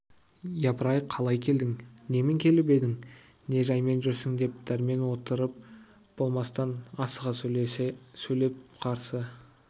япыр-ай қалай келдің немен келіп едің не жаймен жүрсің деп дәрмен отырып болмастан асыға сөйлеп қарсы